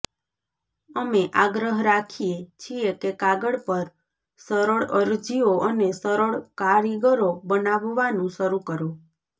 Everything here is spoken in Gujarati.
અમે આગ્રહ રાખીએ છીએ કે કાગળ પર સરળ અરજીઓ અને સરળ કારીગરો બનાવવાનું શરૂ કરો